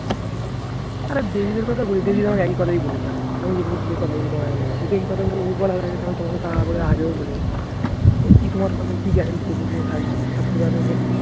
আরে কথা একই কথা বলেছে আমাকে আমি কথা বললে তোমায় ও বলার আগে তো আমি তোমাকে আমি আগেও বলে এসছি কি তোমার কোথায় কি guarantee আছে তুমি থাকবে থাকতে পারবে